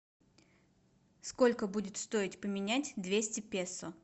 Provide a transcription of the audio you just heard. сколько будет стоить поменять двести песо